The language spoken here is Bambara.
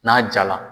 N'a ja la